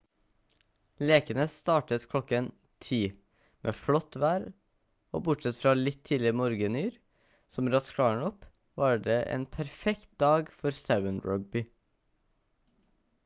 lekene startet klokken 10:00 med flott vær og bortsett fra litt tidlig morgenyr som raskt klarnet opp var det en perfekt dag for 7-rugby